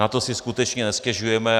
Na to si skutečně nestěžujeme.